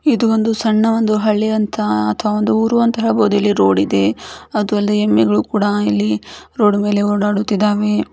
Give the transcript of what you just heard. ಇದು ಒಂದು ಸಣ್ಣ ಹಳ್ಳಿ ಅಂತ ಅಥವಾ ಒಂದು ಊರು ಅಂತ ಹೇಳ್ಬೋದು ಇಲ್ಲಿ ರೋಡ್ ಇದೆ ಅದು ಅಲ್ದೆ ಎಮ್ಮೆಗಳು ಕೂಡ ಇಲ್ಲಿ ರೋಡ್ ಮೇಲೆ ಓಡಾಡುತ್ತಿದ್ದವೇ --